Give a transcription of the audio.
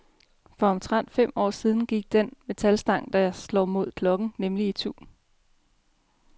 For omtrent fem år siden gik den metalstang, der slår mod klokken, nemlig itu.